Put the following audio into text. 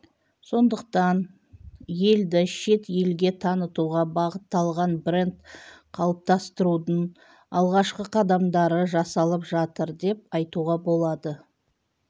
сондықтан елді шет елге танытуға бағытталған бренд қалыптастырудың алғашқы қадамдары жасалып жатыр деп айтуға болады